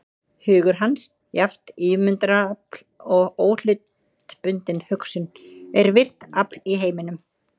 Hugur hans, jafnt ímyndunarafl og óhlutbundin hugsun, er virkt afl í heiminum.